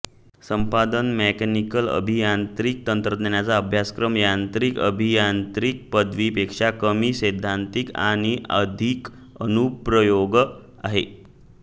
संपादन मेकॅनिकल अभियांत्रिकी तंत्रज्ञानाचा अभ्यासक्रम यांत्रिक अभियांत्रिकी पदवीपेक्षा कमी सैद्धांतिक आणि अधिक अनुप्रयोग आहे